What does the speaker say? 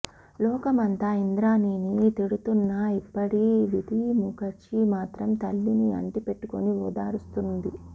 లోకమంతా ఇంద్రాణీని తిడుతున్నా ఇప్పుడీ విధీ ముఖర్జీ మాత్రం తల్లిని అంటిపెట్టుకుని ఓదారుస్తోంది